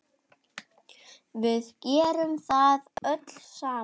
Við gerðum það öll saman.